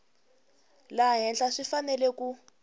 laha henhla swi fanele ku